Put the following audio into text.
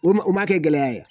N'u u ma kɛ gɛlɛya ye